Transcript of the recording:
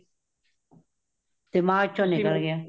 ਦਿਮਾਗ ਚੋ ਨਿਕਲ ਗਯਾ